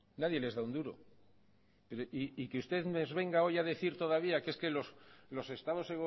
nadie les da un duro y que usted nos venga hoy a decir todavía que es que los estados